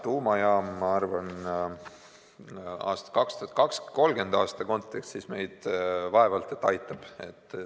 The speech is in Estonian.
Ma arvan, et tuumajaam 2030. aasta kontekstis meid vaevalt et aitab.